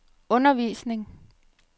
undervisning